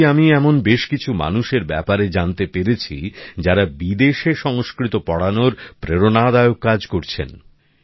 সম্প্রতি আমি এমন বেশ কিছু মানুষের ব্যপারে জানতে পেরেছি যারা বিদেশে সংস্কৃত পড়ানোর প্রেরণাদায়ক কাজ করছেন